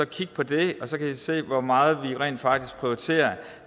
kigge på det og så kan i se hvor meget vi rent faktisk prioriterer